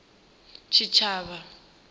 tshitshavha